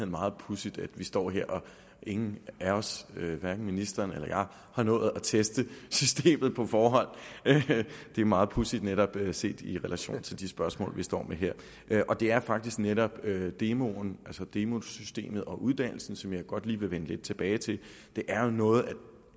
meget pudsigt at vi står her og ingen af os hverken ministeren eller jeg har nået at teste systemet på forhånd det er meget pudsigt netop set i relation til de spørgsmål vi står med her det er faktisk netop demoen altså demosystemet og uddannelsen som jeg godt lige vil vende lidt tilbage til det er jo noget